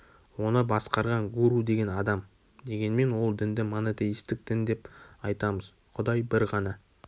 оны басқарған гуру деген адам дегенмен ол дінді монотеистік дін деп айтамыз құдай бір ғана